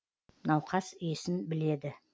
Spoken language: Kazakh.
науқас есін біледі